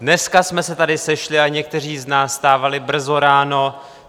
Dneska jsme se tady sešli a někteří z nás vstávali brzo ráno.